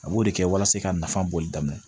A b'o de kɛ walasa ka nafa bɔli daminɛ